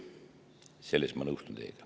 Selles ma nõustun teiega.